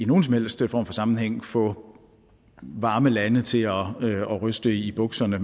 nogen som helst sammenhæng vil få varme lande til at ryste i bukserne